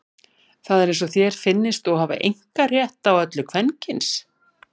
Það er eins og þér finnist þú hafa einkarétt á öllu kvenkyns.